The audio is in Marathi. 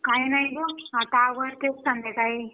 काही नाही ग आता आवरते संध्याकाळी